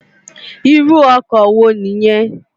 Irù òkò wó ni yèn?